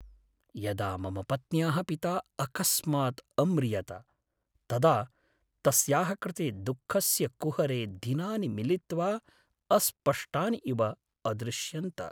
यदा मम पत्न्याः पिता अकस्मात् अम्रियत, तदा तस्याः कृते दुःखस्य कुहरे दिनानि मिलित्वा अस्पष्टानि इव अदृश्यन्त।